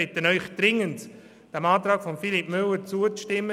Ich bitte Sie dringend, diesem Antrag zuzustimmen.